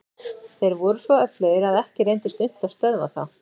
Þeir voru svo öflugir að ekki reyndist unnt að stöðva þá.